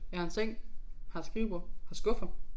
Jeg har en seng har et skrivebord har skuffer